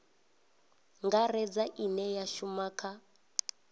ngaredza ine ya shuma kha